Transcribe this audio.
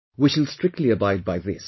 We shall strictly abide by this